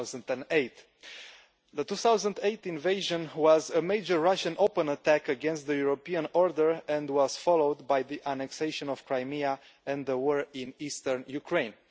2008. The 2008 invasion was a major Russian open attack against the European order and was followed by the annexation of Crimea and the war in Eastern Ukraine.